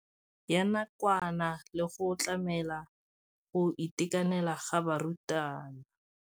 Ya nakwana le go tlamela go itekanela ga barutwana.